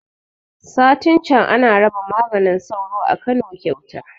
Satin can ana raba maganin sauro a Kano kyauta